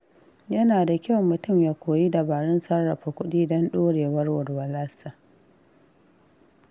Yana da kyau mutum ya koyi dabarun sarrafa kuɗi don ɗorewar walwalarsa.